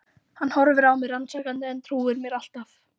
Hann horfir á mig rannsakandi en trúir mér alltaf.